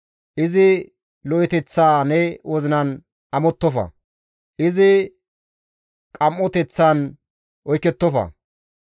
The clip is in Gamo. Izi lo7eteththa ne wozinan amottofa; izi qim7oteththan oykettofa.